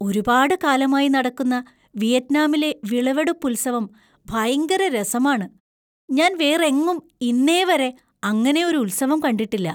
ഒരുപാട് കാലമായി നടക്കുന്ന വിയറ്റ്നാമിലെ വിളവെടുപ്പുത്സവം ഭയങ്കര രസമാണ്; ഞാൻ വേറെങ്ങും ഇന്നേവരെ അങ്ങനെ ഒരു ഉത്സവം കണ്ടിട്ടില്ല.